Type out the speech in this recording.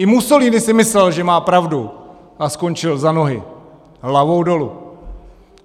I Mussolini si myslel, že má pravdu, a skončil za nohy hlavou dolu.